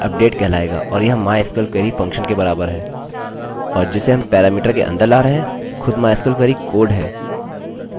अतः यहाँ हम update लिखेंगे और हम टेबलतालिकाका नाम लिखने जा रहे हैं जोकि people है